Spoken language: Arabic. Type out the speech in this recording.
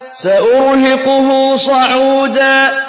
سَأُرْهِقُهُ صَعُودًا